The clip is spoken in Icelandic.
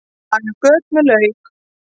Laga göt með lauk